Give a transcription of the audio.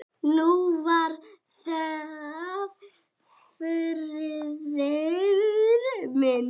Nú var það Þuríður mín.